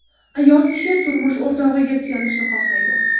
Ayol kishi turmush o‘rtog‘iga suyanishni xohlaydi.